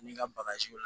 N'i ka bagaji